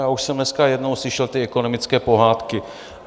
Já už jsem dneska jednou slyšel ty ekonomické pohádky.